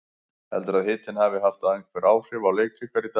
Heldurðu að hitinn hafi haft einhver áhrif á leik ykkar í dag?